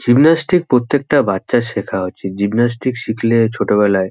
Gymnastic প্রত্যেকটা বাচ্চার সেখা উচিত। জিমনাস্টিক শিখলে ছোট বেলায়--